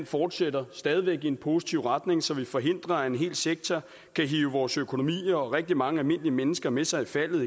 fortsætter stadig i en positiv retning så vi forhindrer at en hel sektor kan hive vores økonomier og rigtig mange almindelige mennesker med sig i faldet